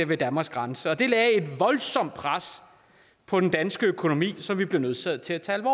ved danmarks grænser det lagde et voldsomt pres på den danske økonomi som vi blev nødsaget til at tage